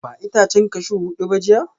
Ba itacen cashew hudu ba jiya?